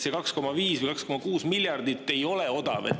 See 2,5 või 2,6 miljardit ei ole odav.